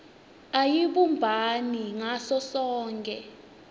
ayibumbani ngaso sonkhe